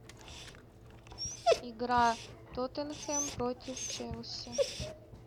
игра тоттенхэм против челси